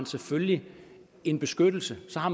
selvfølgelig en beskyttelse og så har